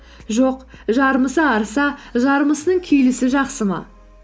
жоқ жармысы арыса жармысының күйлісі жақсы ма